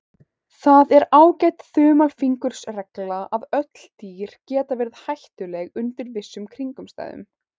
Það er ágæt þumalfingursregla að öll dýr geta verið hættuleg undir vissum kringumstæðum.